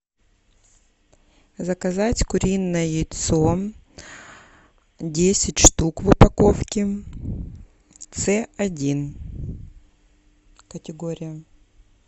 заказать куриное яйцо десять штук в упаковке ц один категория